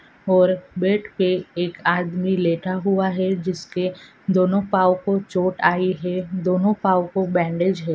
और बेड पे इक आदमी लेता हुआ है जिसके दोनों पाओ को चोट आई है दोनों पाओ को बैन्डिज है|